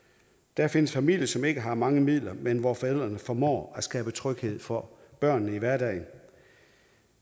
der findes familier som ikke har mange midler men hvor forældrene formår at skabe tryghed for børnene i hverdagen